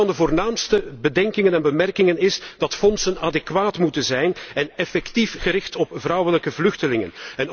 Een van de voornaamste bedenkingen en bemerkingen is dat fondsen adequaat moeten zijn en effectief gericht op vrouwelijke vluchtelingen.